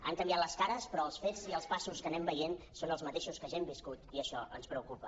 han canviat les cares però els fets i els passos que anem veient són els mateixos que ja hem viscut i això ens preocupa